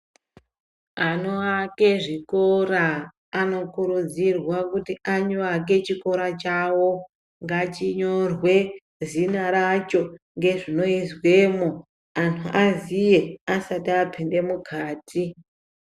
Anoake zvikora anokurudzirwa kuti avake chikora chawo ngachinyorwe zita racho ngezvinoizwemo anhu aziye asati apinde mukati.